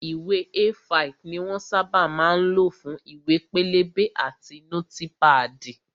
Ìwé A5 ni wón sábà máa ń lò fún ìwé pélébé àti nótípàdì